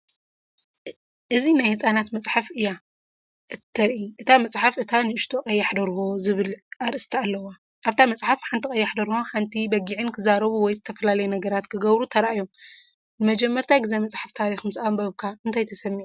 እዚ ናይ ህጻናት መጽሓፍ እያ እተርኢ። እታ መጽሓፍ "እታ ንእሽቶ ቀያሕ ደርሆ" ዝብል ኣርእስቲ ኣለዋ። ኣብታ መጽሓፍ፡ ሓንቲ ቀያሕ ደርሆን ሓንቲ በጊዕን ክዛረቡ ወይ ዝተፈላለየ ነገራት ክገብሩ ተራእዮም። ንመጀመርታ ግዜ መጽሓፍ ታሪኽ ምስ ኣንበብካ እንታይ ተሰሚዑካ?